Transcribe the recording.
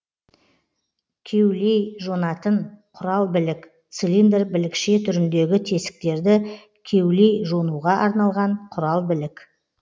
кеулейжонатын құралбілік цилиндр білікше түріндегі тесіктерді кеулейжонуға арналған құралбілік